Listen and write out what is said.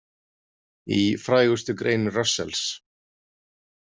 Í frægustu grein Russells.